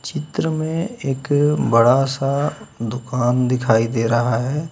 चित्र में एक बड़ा सा दुकान दिखाई दे रहा है।